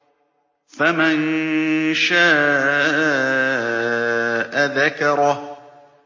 فَمَن شَاءَ ذَكَرَهُ